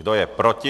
Kdo je proti?